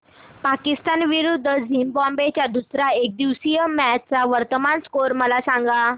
पाकिस्तान विरुद्ध झिम्बाब्वे च्या दुसर्या एकदिवसीय मॅच चा वर्तमान स्कोर मला सांगा